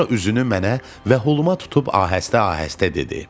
Sonra üzünü mənə və holuma tutub ahəstə-ahəstə dedi.